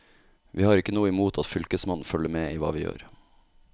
Vi har ikke noe imot at fylkesmannen følger med i hva vi gjør.